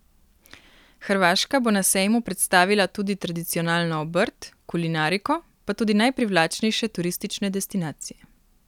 Hrvaška bo na sejmu predstavila tudi tradicionalno obrt, kulinariko, pa tudi najprivlačnejše turistične destinacije.